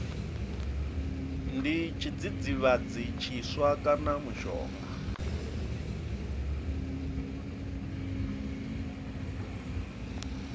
ndi tshidzidzivhadzi tshiswa kana mushonga